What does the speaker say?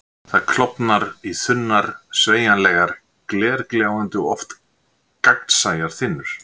Það klofnar í þunnar, sveigjanlegar, glergljáandi, oft gagnsæjar þynnur.